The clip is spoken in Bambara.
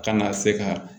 Kana se ka